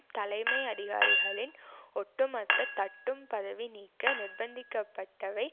தலைமை அதிகாரிகளின் ஒட்டுமொத்த தட்டும் பதவி நீக்க நிர்பந்திக்கப்பட்டவை